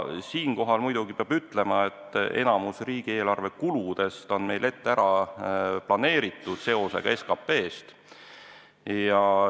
Siinkohal muidugi peab ütlema, et enamik riigieelarve kuludest on meil ette ära planeeritud seotuse tõttu SKP-ga.